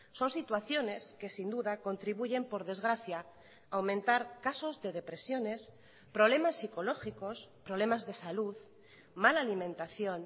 son situaciones que sin duda contribuyen por desgracia a aumentar casos de depresiones problemas psicológicos problemas de salud mala alimentación